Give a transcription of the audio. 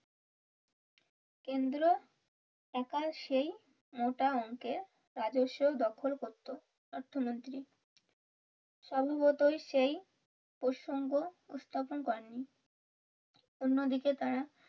কেন্দ্র একা সেই মোটা অংকের রাজস্ব দখল করতো অর্থমন্ত্রী। সম্ভবতই সেই প্রসঙ্গ স্থাপন করেননি অন্যদিকে তারা